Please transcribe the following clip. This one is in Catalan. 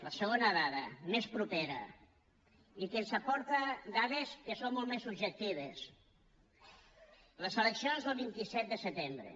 la segona dada més propera i que ens aporta dades que són molt més subjectives les eleccions del vint set de setembre